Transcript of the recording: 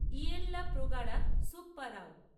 ইয়েল্লা প্রগাড়া Subbarao